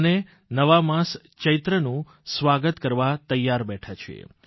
આમે નવા માસ ચૈત્રનું સ્વાગત કરવા તૈયાર બેઠા છીએ